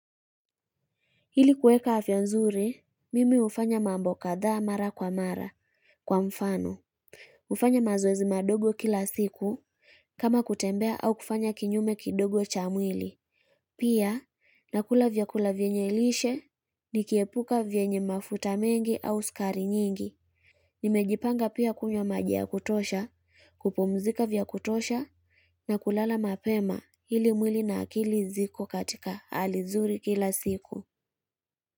Hili kueka afya nzuri, mimi ufanya mambo kadhaa mara kwa mara kwa mfano. Ufanya mazoezi madogo kila siku kama kutembea au kufanya kinyume kidogo cha mwili. Pia, nakula vyakula vyenye lishe, nikiepuka vyenye mafuta mengi au sukari nyingi. Nimejipanga pia kunywa maji ya kutosha, kupumzika vya kutosha na kulala mapema hili mwili na akili ziko katika hali zuri kila siku.